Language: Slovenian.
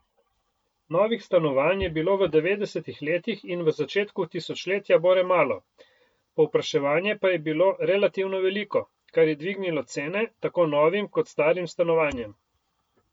Novih stanovanj je bilo v devetdesetih letih in v začetku tisočletja bore malo, povpraševanje pa je bilo relativno veliko, kar je dvignilo cene tako novim kot starim stanovanjem.